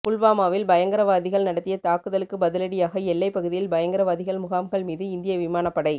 புல்வாமாவில் பயங்கரவாதிகள் நடத்திய தாக்குதலுக்கு பதிலடியாக எல்லைப் பகுதியில் பயங்கரவாதிகள் முகாம்கள் மீது இந்திய விமானப்படை